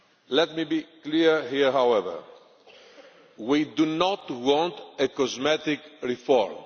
Let me be clear here, however we do not want a cosmetic reform.